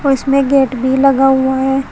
उसमें गेट भी लगा हुआ है।